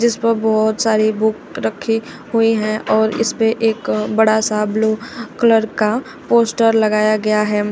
जिस पर बहोत सारी बुक रखी हुई है और इस पे एक बड़ासा ब्लू कलर का पोस्टर लगाया गया है।